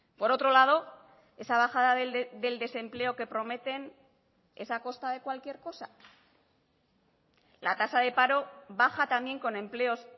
por otro lado esa bajada del desempleo que prometen es a costa de cualquier cosa la tasa de paro baja también con empleos